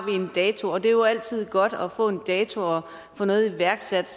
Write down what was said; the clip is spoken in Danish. en dato og det er jo altid godt at få en dato og få noget iværksat